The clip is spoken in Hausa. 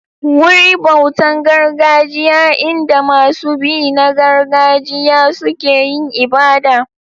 Wuri bautan gargajiya in da masu bi na gargajiya suke yin ibada.